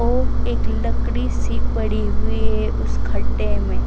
और एक लकड़ी सी पड़ी हुई है उस खड्डे में--